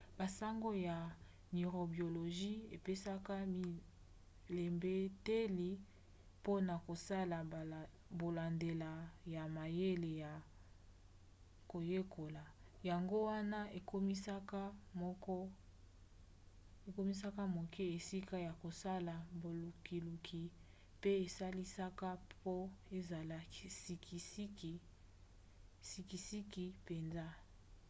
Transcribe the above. basango ya neurobiologie epesaka bilembeteli mpona kosala bolandela ya mayele ya koyekola. yango wana ekomisaka moke esika ya kosala bolukiluki pe esalisaka po ezala sikisiki mpenza